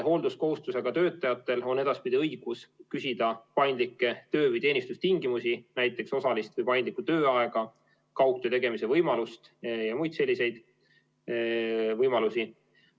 Hoolduskohustusega töötajatel on edaspidi õigus küsida paindlikke töö- või teenistustingimusi, näiteks osalist või paindlikku tööaega, kaugtöö tegemise võimalust jms võimalusi.